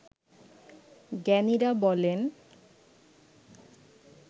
জ্ঞানীরা বলেন